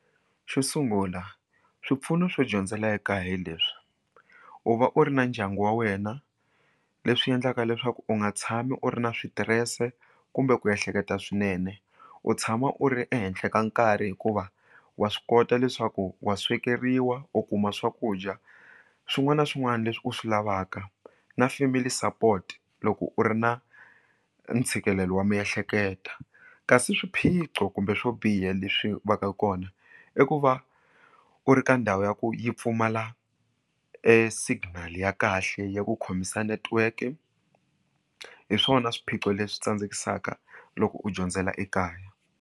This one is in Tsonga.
Xo sungula swipfuno swo dyondzela ekaya hileswi u va u ri na ndyangu wa wena leswi endlaka leswaku u nga tshami u ri na switirese kumbe ku ehleketa swinene u tshama u ri ehenhla ka nkarhi hikuva wa swi kota leswaku wa swekeriwa u kuma swakudya swin'wana na swin'wana leswi u swi lavaka na family support loko u ri na ntshikelelo wa miehleketa kasi swiphiqo kumbe swo biha leswi va ka kona i ku va u ri ka ndhawu ya ku yi pfumala esignal ya kahle ya ku khomisa netiweke hi swona swiphiqo leswi tsandzekisa loko u dyondzela ekaya.